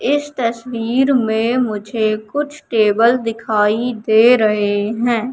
इस तस्वीर में मुझे कुछ टेबल दिखाई दे रहे हैं।